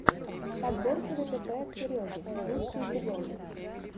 подборки дэтэпэ от сереги лучший эпизод